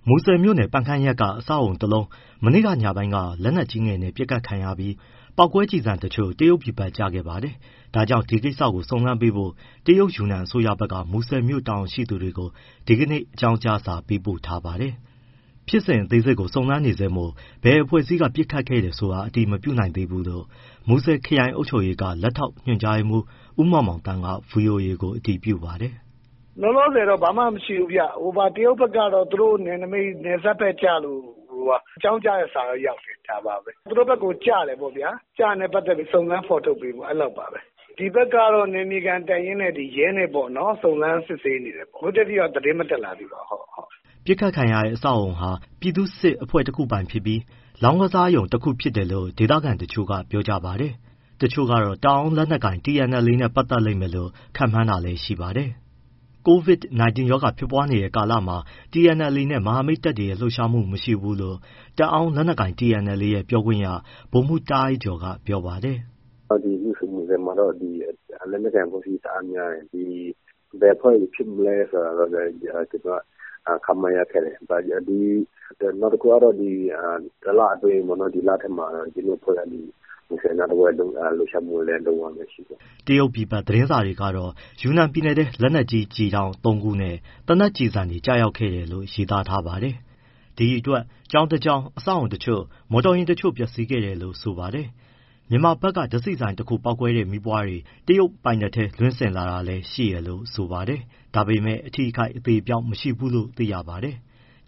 မူဆယ်မြို့နယ် ပန်ခမ်းရပ်က အဆောက်အဦတလုံး မနေ့ကညပိုင်း က လက်နက်ကြီးငယ်နဲ့ ပစ်ခတ်ခံရပြီး အဲဒီက ပေါက်ကွဲကျည်တချို့ တရုတ်ပြည်ဘက်ကို ကျခဲ့ပါတာပါ။ ဒါကြောင့် ဒီကိစ္စကိုစုံစမ်းပေးဖို့ တရုတ်ယူနန် အစိုးရဘက်က မူဆယ်မြို့ တာဝန်ရှိသူတွေကို ဒီကနေ့ အကြောင်းကြားစာပေးပို့ထားပါတယ်။ ဖြစ်စဉ်အသေးစိတ်က စုံစမ်းနေဆဲမို့ ဘယ်အဖွဲ့အစည်းက ပစ်ခတ်ခဲ့တယ်ဆိုတာ အတည်မပြုနိုင်သေးဘူးလို့ မူဆယ်ခရိုင်အုပ်ချုပ်ရေးက လက်ထောက်ညွှန်ကြားမှူး ဦးမောင်မောင်သန်းက ဗွီအိုအေကို အတည်ပြုပါတယ်။ “ လောလောဆယ်တော့ ဘာမှမရှိဘူးဗျ၊ တရုတ်ဘက်ကတော့ သူတို့ နယ်နမိတ် နယ်စပ်ဘက်ကျလို့ အကြောင်းကြားတဲ့စာတော့ ရောက်တယ်။ သူတို့ဘက်ကို ကျတယ်ပေါ့ဗျာ၊ စုံစမ်းဖော်ထုတ်ပေးဖို့ အဲလောက်ပါပဲ။ ဒီဘက်ကတော့ နယ်မြေခံတပ်ရင်းနဲ့ ရဲနဲ့ ပေါ့နော် စုံစမ်းစစ်ဆေးနေတယ်။ အခုအထိတော့ သတင်းမတက်လာသေးပါဘူး။” အပစ်ခံရတဲ့ အဆောက်အဦဟာ ပြည်သူ့စစ်အဖွဲ့တခုပိုင်ဖြစ်ပြီး လောင်းကစားရုံတခုဖြစ်တယ်လို့ ဒေသခံတချို့က ပြောကြပါတယ်။ တချို့ကတော့ တအောင်းလက်နက်ကိုင် TNLA နဲ့ ပတ်သက်လိမ့်မယ်လို့ ခန့်မှန်းတာလည်းရှိပါတယ်။ COVID-19 ရောဂါဖြစ်ပွားနေတဲ့ကာလမှာ TNLD နဲ့ မဟာမိတ်တပ်တွေရဲ့ လှုပ်ရှားမှု မရှိဘူးလို့ တအောင်းလက်နက်ကိုင် TNLA ရဲ့ပြောခွင့်ရ ဗိုလ်မှူး တားအိုက်ကျော်က ပြောပါတယ်။ “ မူဆယ်မှာ လက်နက်ကိုင် အဖွဲ့အစည်း တအားများတယ်၊ ဘယ်အဖွဲ့တွေဖြစ်မလဲဆိုတာတော့ ကျနော်တို့ ခန့်မှန်းရခက်တယ်။ နောက်တခုက ဒီ တလအတွင်း ဒီလထဲမှာ မူဆယ်နားတဝိုက်လှုပ်ရှားမှုလည်း မရှိဘူး။” တရုတ်ပြည်ဘက်သတင်းစာတွေကတော့ ယူနန်ပြည်နယ်ထဲ လက်နက်ကြီးကျည်တောင့် ၃ခုနဲ့ သေနတ်ကျည်ဆံတွေကျခဲ့တယ်လို့ ရေးသားထားပါတယ်။ ဒီအတွက် ကျောင်းတကျောင်း၊ အဆောက်အဦးအချို့၊ မော်တော်ယာဉ်အချို့ပျက်စီးခဲ့တယ်လို့ဆိုပါတယ်။ မြန်မာဘက်က ဓါတ်ဆီဆိုင်တခု ပေါက်ကွဲတဲ့ မီးပွားတွေ တရုတ်ပိုင်နက်ထဲ လွှင့်စင်လာတာလည်းရှိတယ်လို့ဆိုပါတယ်။ ဒါပေမယ့် အထိအခိုက် အသေအပျောက် မရှိဘူးလို့ သိရပါတယ်။